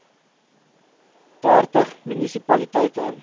dertig munisi paliteite